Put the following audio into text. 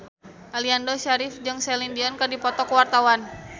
Aliando Syarif jeung Celine Dion keur dipoto ku wartawan